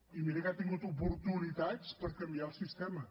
i mira que ha tingut oportunitats per canviar el sistema